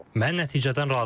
Mən nəticədən razıyam.